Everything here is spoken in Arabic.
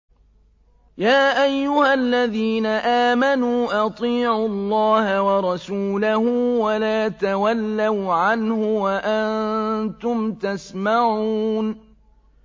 يَا أَيُّهَا الَّذِينَ آمَنُوا أَطِيعُوا اللَّهَ وَرَسُولَهُ وَلَا تَوَلَّوْا عَنْهُ وَأَنتُمْ تَسْمَعُونَ